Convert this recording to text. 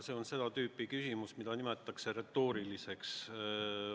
See on seda tüüpi küsimus, mida nimetatakse retooriliseks.